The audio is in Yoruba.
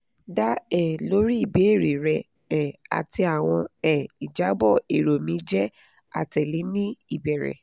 da um lori ibeere rẹ um ati awọn um ijabọ ero mi jẹ atẹle ni ibere